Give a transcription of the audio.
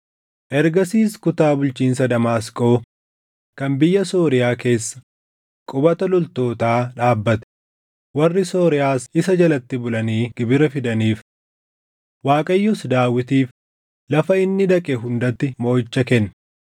Ergasiis kutaa bulchiinsa Damaasqoo kan biyya Sooriyaa keessa qubata loltootaa dhaabbate; warri Sooriyaas isa jalatti bulanii gibira fidaniif. Waaqayyos Daawitiif lafa inni dhaqe hundatti mooʼicha kenne.